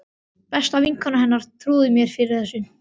Besta vinkona hennar trúði mér fyrir þessu.